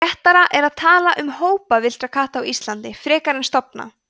réttara er að tala um hópa villtra katta íslandi frekar en stofna